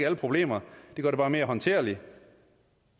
alle problemer den gør det bare mere håndterligt